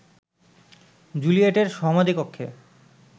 জুলিয়েটের সমাধিকক্ষে